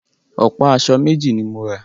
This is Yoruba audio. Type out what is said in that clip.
Ọ̀pá aṣọ méjì ni mo rà